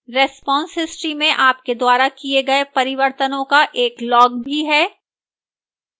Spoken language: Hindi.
response history में आपके द्वारा किए गए परिवर्तनों का एक log भी है